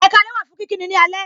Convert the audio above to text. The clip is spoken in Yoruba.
Ekaalẹ wà fún kíkí ni ní alẹ.